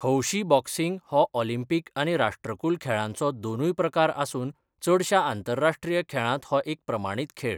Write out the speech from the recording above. हौशी बॉक्सिंग हो ऑलिंपिक आनी राष्ट्रकुल खेळांचो दोनूय प्रकार आसून चडशा आंतरराश्ट्रीय खेळांत हो एक प्रमाणीत खेळ.